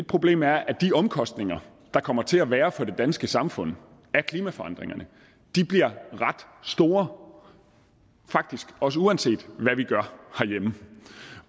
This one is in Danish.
problem er at de omkostninger der kommer til at være for det danske samfund af klimaforandringerne bliver ret store faktisk også uanset hvad vi gør herhjemme